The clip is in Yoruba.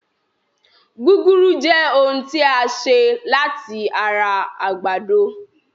Gúgúrú Jẹ́ ohun tí a ṣe láti ara àgbàdo